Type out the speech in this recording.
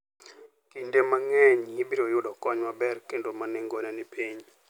Kinde mang'eny, ibiro yudo kony maber kendo ma nengone ni piny.